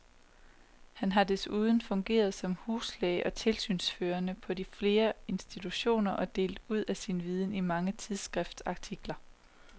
Han har desuden fungeret som huslæge og tilsynsførende på flere institutioner og delt ud af sin viden i mange tidsskriftsartikler.